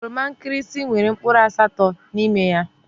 Oroma nkirisi nwèrè mkpụrụ asatọ n'ime ya.